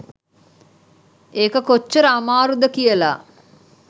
ඒක කොච්චර අමාරුද කියලා